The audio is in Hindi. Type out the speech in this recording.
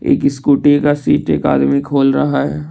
इक स्कूटी का सीट एक आदमी खोल रहा है।